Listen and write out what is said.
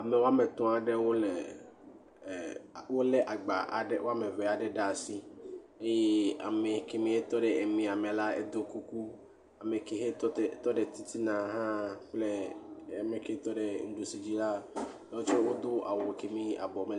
Ame woame etɔ̃ aɖewo, wolé agba aɖewo ɖe asi eye ame kɛmie tɔ ɖe emia me la, eɖɔ kuku, ye ame ke he tɔ ɖe titina hã kple ame ke tɔ ɖe nuɖusi dzi la, woawo tsɛ…